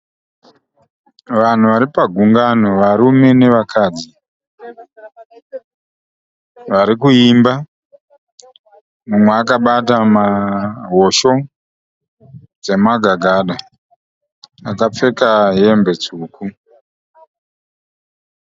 Vanhu vari pagungano varume nevakadzi. Vari kuimba umwe akabata hosho dzemagagada. Akapfeka hembe tsvuku.